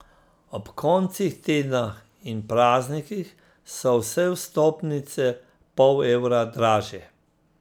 Ob koncih tedna in praznikih so vse vstopnice pol evra dražje.